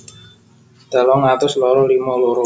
telung atus loro limo loro